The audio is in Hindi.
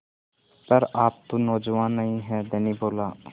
पर आप तो नौजवान नहीं हैं धनी बोला